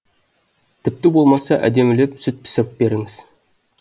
тіпті болмаса әдемілеп сүт пісіріп беріңіз